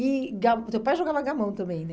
E ga o teu pai jogava gamão também, né?